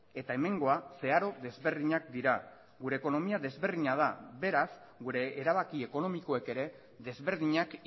eta hemengoa zeharo desberdinak dira gure ekonomia desberdina da beraz gure erabaki ekonomikoek ere desberdinak